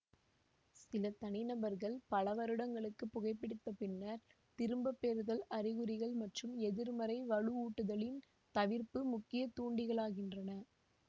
சில தனிநபர்கள் பல வருடங்களுக்கு புகைபிடித்த பின்னர் திரும்பப்பெறுதல் அறிகுறிகள் மற்றும் எதிர்மறை வலுவூட்டுதலின் தவிர்ப்பு முக்கிய தூண்டிகளாகின்றன